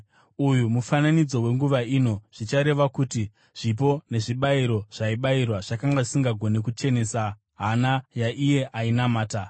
Uyu mufananidzo wenguva ino, zvichireva kuti zvipo nezvibayiro zvaibayirwa zvakanga zvisingagoni kuchenesa hana yaiye ainamata.